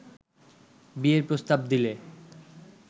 বিয়ের প্রস্তাব দিলে